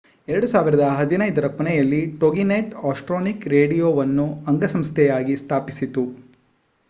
2015 ರ ಕೊನೆಯಲ್ಲಿ Toginet Astronet ರೇಡಿಯೊವನ್ನು ಅಂಗಸಂಸ್ಥೆಯಾಗಿ ಸ್ಥಾಪಿಸಿತು